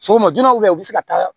Sɔgɔma joona u bɛ se ka taa